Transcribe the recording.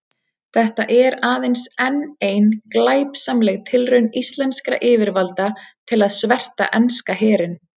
Þetta er aðeins enn ein glæpsamleg tilraun íslenskra yfirvalda til að sverta enska herinn.